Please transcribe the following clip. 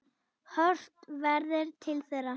Horft verði til þeirra.